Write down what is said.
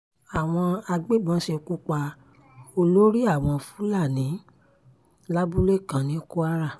àwọn agbébọn ṣekú pa olórí àwọn fúlàní lábúlé kan ní kwara